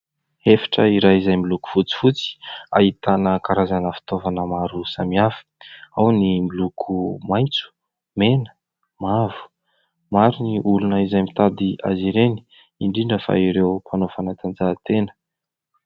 Efitra iray izay miloko fotsifotsy, ahitana karazana fitaovana maro samihafa : ao ny miloko maitso, mena , mavo. Maro ny olona, izay mitady azy ireny; indrindra fa ireo mpanao fanatanjahan-tena.